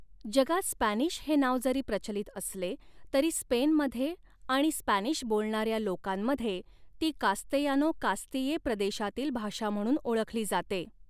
जगात स्पॅनिश हे नाव जरी प्रचलित असले तरी स्पेनमधे आणि स्पॅनिश बोलणऱ्या लोकांमध्ये ती कास्तेयानो कास्तिये प्रदेशातील भाषा म्हणून ओळखली जाते.